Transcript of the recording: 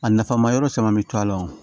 A nafa ma yɔrɔ caman mi to a la o